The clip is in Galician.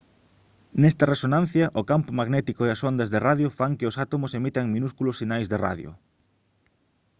nesta resonancia o campo magnético e as ondas de radio fan que os átomos emitan minúsculos sinais de radio